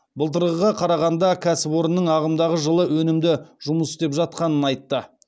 былтырғыға қарағанда кәсіпорынның ағымдағы жылы өнімді жұмыс істеп жатқанын айтты